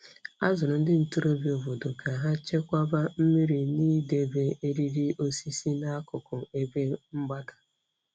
A zụrụ ndị ntorobịa obodo ka ha chekwaba mmiri na idebe eriri osisi n'akụkụ ebe mgbada.